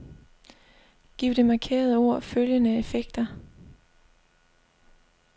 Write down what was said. Giv det markerede ord følgende effekter.